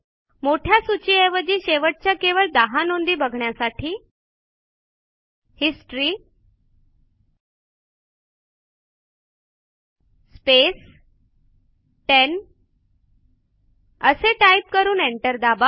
मोठ्या सूचीऐवजी शेवटच्या केवळ १० नोंदी बघण्यासाठी हिस्टरी स्पेस 10 असे टाईप करून एंटर दाबा